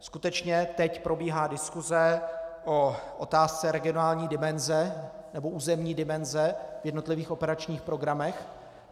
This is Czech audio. Skutečně teď probíhá diskuse o otázce regionální dimenze nebo územní dimenze v jednotlivých operačních programech.